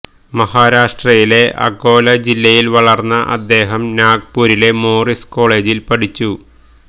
മഹാരാഷ്ട്രയിലെ അകോല ജില്ലയിൽ വളർന്ന അദ്ദേഹം നാഗ്പൂരിലെ മോറിസ് കോളേജിൽ പഠിച്ചു